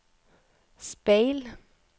speil